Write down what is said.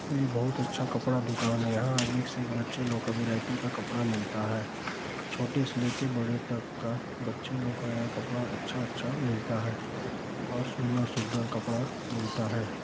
ये बहुत अच्छा कपड़ा दुकान है यहाँ एक से एक बच्चे लोग का वेराइटी का कपड़ा मिलता छोटे से लेकर बड़े तक का बच्चे लोग का कपड़ा अच्छा-अच्छा मिलता है और सुंदर-सुंदर कपड़ा मिलता है।